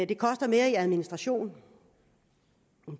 det koster mere i administration